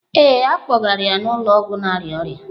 Ee, a kpọgara ya n'ụlọ ọgwụ na-arịa ọrịa.